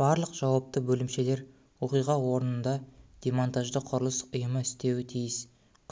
барлық жауапты бөлімшелер оқиға орнында демонтажды құрылыс ұйымы істеуі тиіс